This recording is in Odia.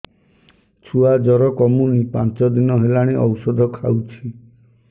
ଛୁଆ ଜର କମୁନି ପାଞ୍ଚ ଦିନ ହେଲାଣି ଔଷଧ ଖାଉଛି